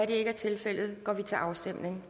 ikke er tilfældet går vi til afstemning